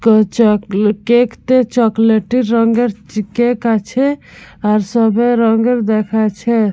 ক চক কেক টা চকলেট -ই রঙের কেক আছে। আর সবে রঙের দেখাইছে।